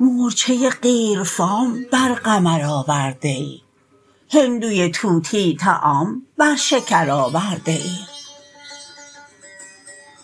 مورچه قیرفام بر قمر آورده ای هندوی طوطی طعام بر شکر آورده ای